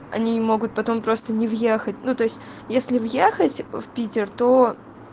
они могут потом просто не въехать ну то есть если въехать в питер то